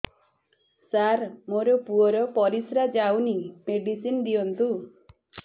ସାର ମୋର ପୁଅର ପରିସ୍ରା ଯାଉନି ମେଡିସିନ ଦିଅନ୍ତୁ